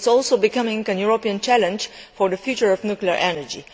It is also becoming a European challenge for the future of nuclear energy.